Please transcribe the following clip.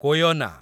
Koyna